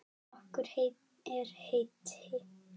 Okkur er heitt.